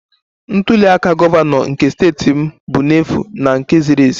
Ntuli aka gọvanọ nke steeti m bụ n'efu na nke ziri ezi